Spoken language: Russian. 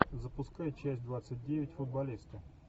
запускай часть двадцать девять футболисты